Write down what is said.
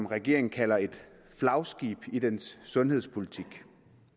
regeringen kalder et flagskib i dens sundhedspolitik